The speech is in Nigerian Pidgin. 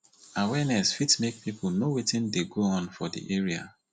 awareness fit make pipo know wetin dey go on for di area